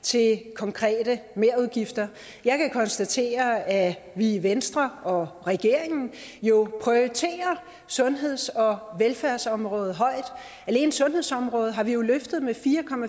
til konkrete merudgifter jeg kan konstatere at vi i venstre og i regeringen jo prioriterer sundheds og velfærdsområdet højt alene sundhedsområdet har vi jo løftet med fire